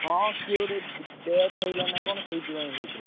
ହଁ କିଏ ଗୋଟେ death ହେଇଥିଲା ନାଁ କଣ ସେଇଥି ପାଇଁ ହେଇଥିଲା।